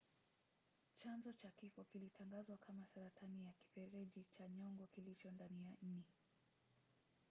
chanzo cha kifo kilitangazwa kama saratani ya kifereji cha nyongo kilicho ndani ya ini